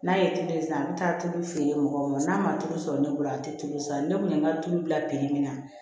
N'a ye tulu san an bɛ taa tulu feere mɔgɔw ma n'a ma tulu sɔrɔ ne bolo a tɛ tulu san ne kun ye n ka tulu bila min na